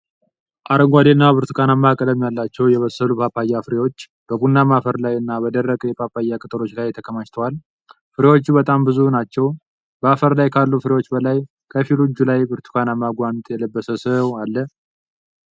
አረንጓዴ እና ብርቱካናማ ቀለም ያላቸው የበሰሉ ጳጳያ ፍሬዎች በቡናማ አፈር ላይ እና በደረቁ የጳጳያ ቅጠሎች ላይ ተከማችተዋል። ፍሬዎቹ በጣም ብዙ ናቸው፤ በአፈር ላይ ካሉ ፍሬዎች በላይ ከፊሉ እጁ ላይ ብርቱካናማ ጓንት የለበሰ ሰው አለ።